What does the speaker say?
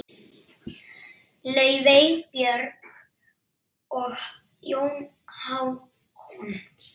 Laufey, Björg og Jón Hákon.